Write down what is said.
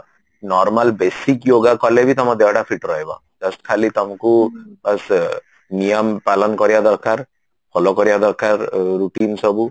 କି normal basic yogaଟା କଲେବି ତମ ଦେହ ଟା feet ରହିବ just ଖାଲି ତମକୁ ବାସ ନିୟମ ପାଳନ କରିବା ଦରକାର follow କରିବା ଦରକାର routine ସବୁ